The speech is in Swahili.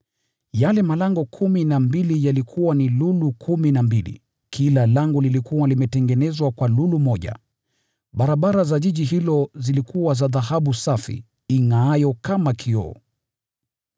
Yale malango kumi na mbili yalikuwa ni lulu kumi na mbili, kila lango lilikuwa limetengenezwa kwa lulu moja. Barabara kuu ya mji huo ilikuwa ya dhahabu safi ingʼaayo kama kioo.